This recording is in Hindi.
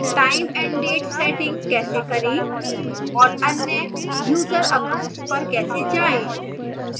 time and date settings कैसे करें और अन्य user accounts पर कैसे जाएं